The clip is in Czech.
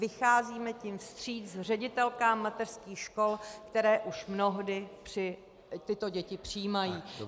Vycházíme tím vstříc ředitelkám mateřských škol, které už mnohdy tyto děti přijímají.